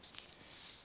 toelaes aansoek